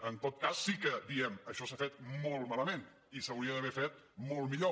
en tot cas sí que diem això s’ha fet molt malament i s’hauria d’haver fet molt millor